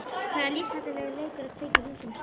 Það er lífshættulegur leikur að kveikja í húsum sagði